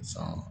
San